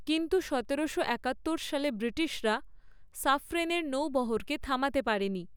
কিন্তু সতেরোশো একাত্তর সালে ব্রিটিশরা সাফ্রেনের নৌবহরকে থামাতে পারেনি।